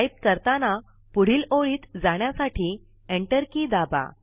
type करताना पुढील ओळीत जाण्यासाठी Enter के दाबा